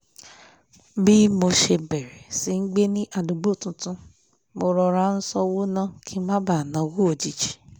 bí mo ṣe bẹ̀rẹ̀ sí í gbé ní àdúgbò tuntun mo rọra ń ṣọ́wó ná kí n má bàa náwó òjijì